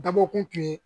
Dabɔkun tun ye